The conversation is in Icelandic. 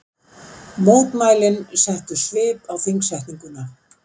Mótmælin settu svip á þingsetninguna